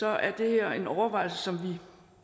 er det her en overvejelse